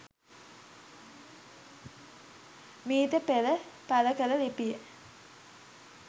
මීට පෙර පළකල ලිපිය